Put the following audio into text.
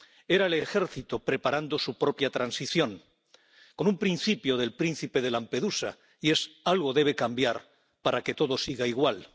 Era el ejército preparando su propia transición, con un principio del príncipe de Lampedusa, que es que algo debe cambiar para que todo siga igual.